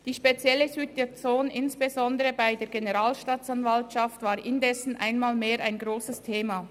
Die spezielle Situation insbesondere bei der Generalstaatsanwaltschaft war indessen einmal mehr ein wichtiges Thema.